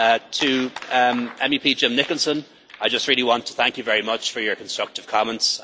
To Mr Nicholson, I just want to thank you very much for your constructive comments.